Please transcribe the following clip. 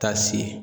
Taa se